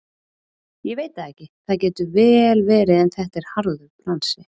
Ég veit það ekki, það getur vel verið en þetta er harður bransi.